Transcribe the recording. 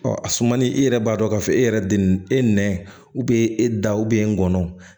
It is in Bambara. Ɔ a sumani i yɛrɛ b'a dɔn k'a fɔ e yɛrɛ de e nɛnɔ